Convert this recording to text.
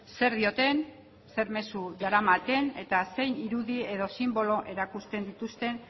zer dioten zer mezu daramaten eta zein irudi edo sinbolo erakusten dituzten